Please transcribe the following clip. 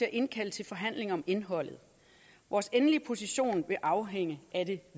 at indkalde til forhandlinger om indholdet vores endelige position vil afhænge af det